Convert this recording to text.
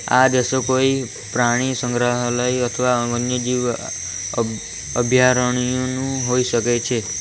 આ દ્રશ્ય કોઈ પ્રાણી સંગ્રહાલય અથવા વન્યજીવ અ અભ્યારણનું હોઈ શકે છે.